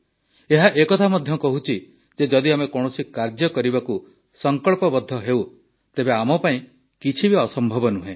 ଏହା ଏ କଥା ମଧ୍ୟ କହୁଛି ଯେ ଯଦି ଆମେ କୌଣସି କାର୍ଯ୍ୟ କରିବାକୁ ସଂକଳ୍ପବଦ୍ଧ ହେଉ ତେବେ ଆମ ପାଇଁ କିଛି ଅସମ୍ଭବ ନୁହେଁ